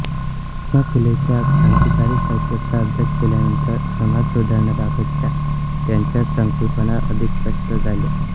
महात्मा फुलेंच्या क्रांतिकारी साहित्याचा अभ्यास केल्यानंतर समाजसुधारणांबाबतच्या त्यांच्या संकल्पना अधिक स्पष्ट झाल्या